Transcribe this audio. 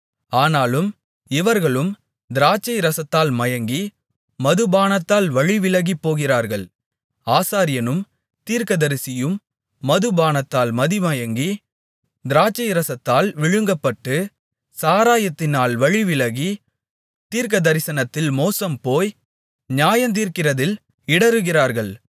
ஆனாலும் இவர்களும் திராட்சைரசத்தால் மயங்கி மதுபானத்தால் வழிவிலகிப்போகிறார்கள் ஆசாரியனும் தீர்க்கதரிசியும் மதுபானத்தால் மதிமயங்கி திராட்சைரசத்தால் விழுங்கப்பட்டு சாராயத்தினால் வழிவிலகி தீர்க்கதரிசனத்தில் மோசம்போய் நியாயந்தீர்க்கிறதில் இடறுகிறார்கள்